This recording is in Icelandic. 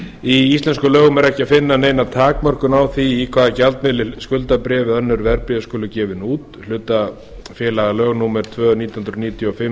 í íslenskum lögum er ekki að finna neina takmörkun á því í hvaða gjaldmiðli skuldabréf eða önnur verðbréf skuli gefin út hlutafélagalög númer tvö nítján hundruð níutíu og fimm